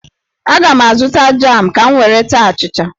Aga m azụta jam ka m were taa achịcha.